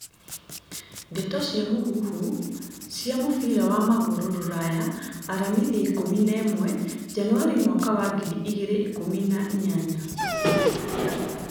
Ndeto cia mũhuhu cia mũbira wa magũrũ Rũraya aramithi ikũmi nemwe Janũarĩ mwaka wa ngiri igĩrĩ ikumi na inyanya